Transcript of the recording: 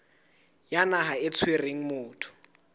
ya naha e tshwereng motho